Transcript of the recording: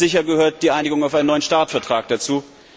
Ganz sicher gehört die Einigung auf einen neuen START Vertrag dazu.